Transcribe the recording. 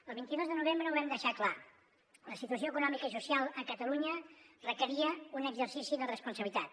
el vint dos de novembre ho vam deixar clar la situació econòmica i social a catalunya requeria un exercici de responsabilitat